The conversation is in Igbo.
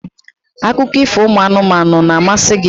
akụkọ ifo ụmụ anụmanụ na-amasị gị?